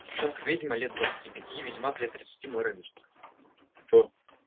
девчонка-ведьма лет двадцати пяти и ведьмак лет тридцати мой ровесник